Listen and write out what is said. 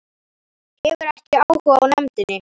Hefur ekki áhuga á nefndinni